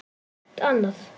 Það er allt annað.